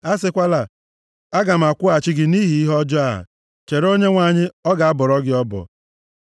A sịkwala, “Aga m akwụghachi gị nʼihi ihe ọjọọ a.” Chere Onyenwe anyị, ọ ga-abọrọ gị ọbọ.